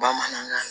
Bamanankan